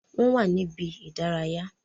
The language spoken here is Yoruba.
Wọn wà ní ibi-idaraya